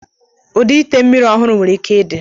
Ụdị ite mmiri ọhụrụ nwere ike ịdị.